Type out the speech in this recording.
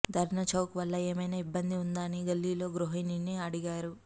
ధర్నా చౌక్ వల్ల ఏమైనా ఇబ్బంది ఉందా అని ఒక గల్లీలో గృహిణిని అడిగారు